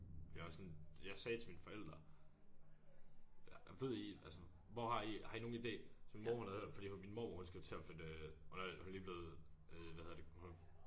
Det er også sådan jeg sagde til mine forældre ja ved I altså hvor har I har I nogen ide så min mor hun havde hørt fordi min mormor hun skal jo til at flytte hun er hun er lige blevet øh hvad hedder det hun